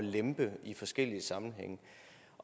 lempe i forskellige sammenhænge